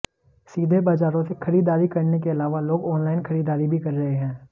सीधे बाजारों से खरीदारी करने के अलावा लोग ऑनलाइन खरीदारी भी कर रहे हैं